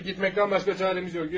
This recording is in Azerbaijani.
Çəkib getməkdən başqa çarəmiz yox, yürü.